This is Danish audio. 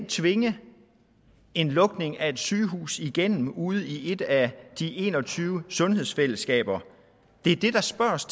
tvinge en lukning af et sygehus igennem ude i et af de en og tyve sundhedsfællesskaber det er det der spørges